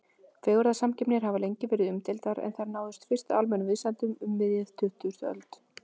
Fegurðarsamkeppnir hafa lengi verið umdeildar en þær náðu fyrst almennum vinsældum um miðja tuttugustu öld.